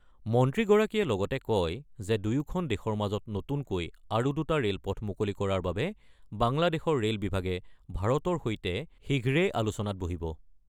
মন্ত্ৰীগৰাকীয়ে লগতে কয় যে দুয়োখন দেশৰ মাজত নতুনকৈ আৰু দুটা ৰে'লপথ মুকলি কৰাৰ বাবে বাংলাদেশৰ ৰে'ল বিভাগে ভাৰতৰ সৈতে শীঘ্ৰেই আলোচনাত বহিব।